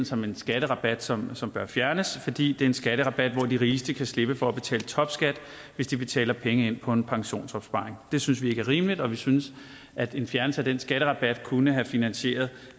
som en skatterabat som som bør fjernes fordi det er en skatterabat hvor de rigeste kan slippe for at betale topskat hvis de betaler penge ind på en pensionsopsparing det synes vi ikke er rimeligt og vi synes at en fjernelse af den skatterabat kunne have finansieret